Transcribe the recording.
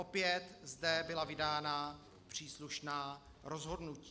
Opět zde byla vydána příslušná rozhodnutí.